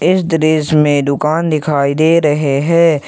इस दृश्य में दुकान दिखाई दे रहे हैं।